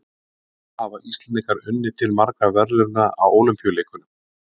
Hvað hafa Íslendingar unnið til margra verðlauna á Ólympíuleikum?